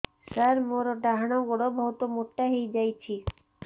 ସାର ମୋର ଡାହାଣ ଗୋଡୋ ବହୁତ ମୋଟା ହେଇଯାଇଛି